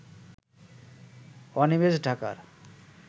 অনিমেষ ঢাকার